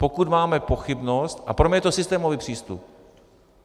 Pokud máme pochybnost - a pro mě je to systémový přístup.